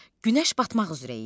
Günəş batmaq üzrə idi.